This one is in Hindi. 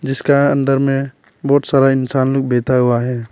जिसका अंदर में बहुत सारा इंसान लोग बैठा हुआ है।